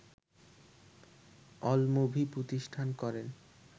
AllMovie প্রতিষ্ঠা করেন